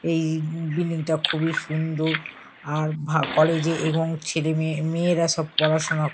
এই বিল্ডিং -টা খুবই সুন্দর আর ভা কলেজ -এ এবং ছেলেমেয়ে মেয়েরা সব পড়াশুনা ক--